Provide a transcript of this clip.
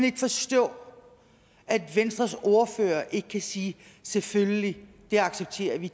ikke forstå at venstres ordfører ikke kan sige selvfølgelig det accepterer vi